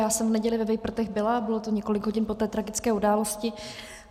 Já jsem v neděli ve Vejprtech byla, bylo to několik hodin po té tragické události.